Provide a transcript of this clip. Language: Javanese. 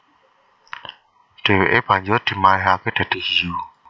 Dheweke banjur dimalihake dadi hiyu